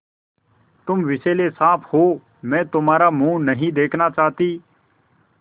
तुम विषैले साँप हो मैं तुम्हारा मुँह नहीं देखना चाहती